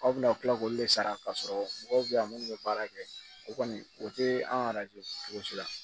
Aw bɛna tila k'olu le sara k'a sɔrɔ mɔgɔw bɛ yan minnu bɛ baara kɛ o kɔni o tɛ an ka cogo si la